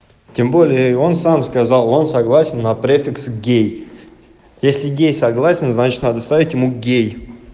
тем более он сам сказал он согласен на префикс гей если гей согласен значит надо ставить ему гей